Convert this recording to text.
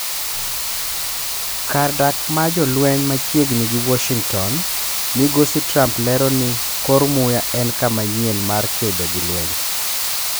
Kar dak ma jolwenymachiegni gi Washington, Migosi Trump lero ni "kor muya en ka manyien mar kedo gi lweny".